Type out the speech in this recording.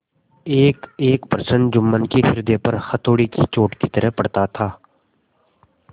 एकएक प्रश्न जुम्मन के हृदय पर हथौड़े की चोट की तरह पड़ता था